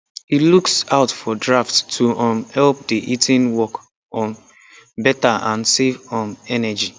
he looks out for drafts to um help the heating work um better and save um energy